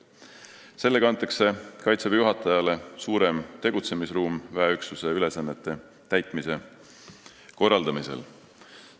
Sellega antakse Kaitseväe juhatajale suurem tegutsemisruum väeüksuse ülesannete täitmise korraldamisel.